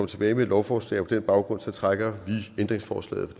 tilbage med et lovforslag og på den baggrund trækker vi ændringsforslaget